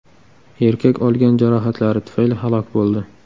Erkak olgan jarohatlari tufayli halok bo‘ldi.